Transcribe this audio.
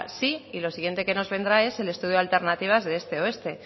sí y lo siguiente que nos vendrá es el estudio de alternativas de este oeste